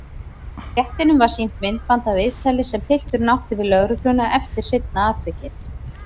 Réttinum var sýnt myndband af viðtali sem pilturinn átti við lögregluna eftir seinna atvikið.